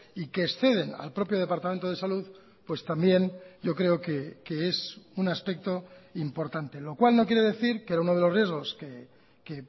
y que exceden al propio departamento de salud pues también yo creo que es un aspecto importante lo cual no quiere decir que era uno de los riesgos que